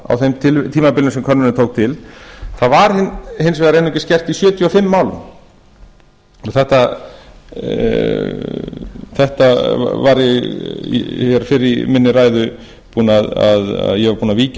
á þeim tímabilum sem könnunin tók til það var hins vegar einungis gert í sjötíu og fimm málum ég var búinn að víkja að þessu hér fyrr í minni ræðu